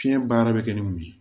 Fiɲɛ baara bɛ kɛ ni mun ye